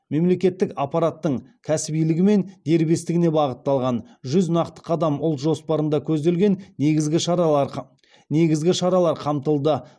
мемлекеттік аппараттың кәсібилігі мен дербестігіне бағытталған жүз нақты қадам ұлт жоспарында көзделген негізгі шаралар қамтылды